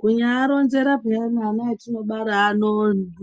Kunyaaronzera pheyani ana atinobara ano,